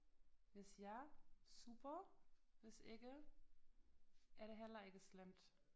Hvis ja super hvis ikke er det heller ikke slemt